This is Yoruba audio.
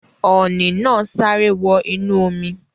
Ọ̀ọ̀nì naa sáré wọ inú omi